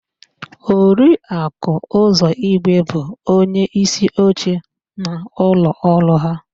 Oriaku Uzọigwe bụ onyeísíoche n'ụlọọrụ áhụ̀.